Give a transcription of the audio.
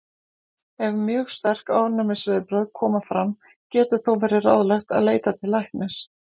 Ef mjög sterk ofnæmisviðbrögð koma fram getur þó verið ráðlegt að leita til læknis.